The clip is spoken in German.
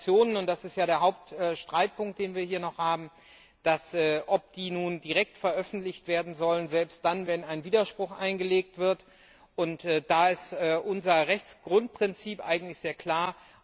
Zu den Sanktionen, und das ist ja der Hauptstreitpunkt, den wir hier noch haben In der Frage, ob Sanktionen nun direkt veröffentlicht werden sollen, selbst dann, wenn ein Widerspruch eingelegt wird, ist unser Rechtsgrundprinzip eigentlich sehr klar.